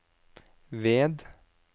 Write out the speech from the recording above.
ved